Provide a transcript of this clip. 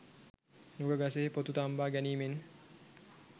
නුග ගසෙහි පොතු තම්බා ගැනීමෙන්